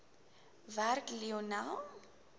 werk lionel